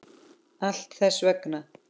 Allt þess vegna.